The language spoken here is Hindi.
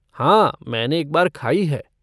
हाँ, मैंने एक बार खाई है।